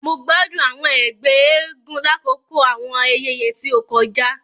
Mo gbádùn àwọn ègbé eégún lakoko àwọn ayẹyẹ ti o kọjá.